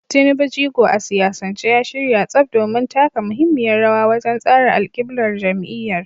Tinubu, jigo a siyasance, ya shirya tsaf domin taka muhimmiyar rawa wajen tsara alƙiblar jam’iyyar.